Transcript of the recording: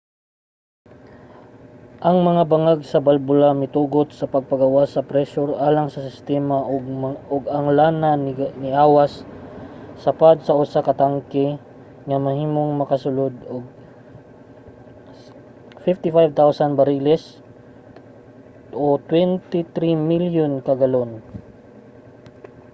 ang mga bangag sa balbula mitugot sa pagpagawas sa presyur alang sa sistema ug ang lana niawas sa pad sa usa ka tanke nga mahimong makasulod og 55,000 bariles 2.3 milyon ka galon